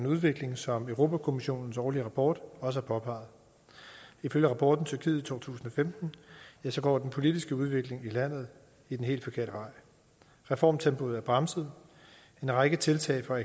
udvikling som europa kommissionens årlige rapport også påpeger ifølge rapporten tyrkiet to tusind og femten går den politiske udvikling i landet den helt forkerte vej reformtempoet er bremset en række tiltag fra